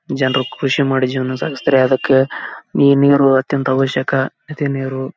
ಜನರು ಕೃಷಿ ಮಾಡಿ ಜನರು ಸಾಗಿಸುತ್ತಾರೆ. ಅದಕ್ಕೆ ಸಿಹಿ ನೀರು ಅವಶ್ಯಕ --